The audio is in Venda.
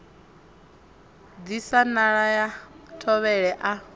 disa nala ha thovhele a